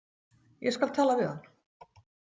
Ég skal tala við hann.